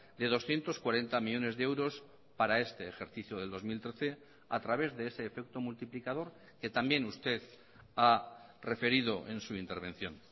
de doscientos cuarenta millónes de euros para este ejercicio del dos mil trece a través de ese efecto multiplicador que también usted ha referido ensu intervención